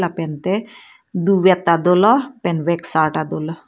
pente duvet ta dolo pen veksar ta dolo.